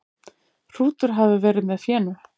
Hrútur hafi verið með fénu.